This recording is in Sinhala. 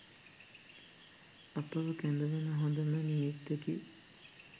අපව කැඳවන හොඳ නිමිත්තකි.